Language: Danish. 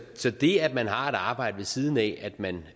så det at man har et arbejde ved siden af at man